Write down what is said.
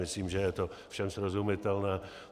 Myslím, že je to všem srozumitelné.